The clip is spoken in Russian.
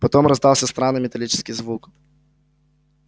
потом раздался странный металлический звук